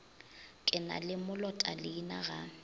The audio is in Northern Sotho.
ke na le molotaleina ga